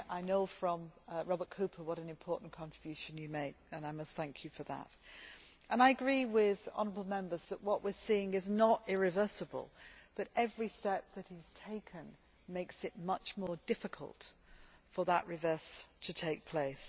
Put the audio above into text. I know from Robert Cooper what an important contribution you have made, and I must thank you for that. I agree with the honourable Members that what we are seeing is not irreversible, but every step that is taken makes it much more difficult for that reversal to take place.